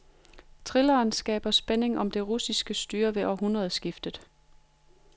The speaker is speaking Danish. Thrilleren skaber spænding om det russiske styre ved årtusindskiftet.